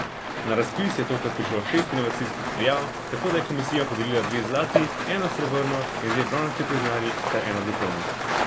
Na razpis je tokrat prišlo šest inovacijskih prijav, tako da je komisija podelila dve zlati, eno srebrno in dve bronasti priznanji ter eno diplomo.